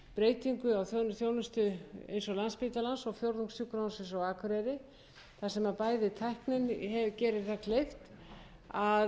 breytingu á þjónustu eins og á landspítalanum og fjórðungssjúkrahúsinu á akureyri þar sem tæknin gerir kleift